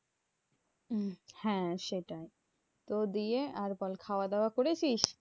হম হ্যাঁ সেটাই, তো দিয়ে আর বল খাওয়া দাওয়া করেছিস?